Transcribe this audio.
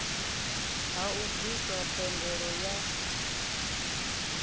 ha u bviswa thendelo ya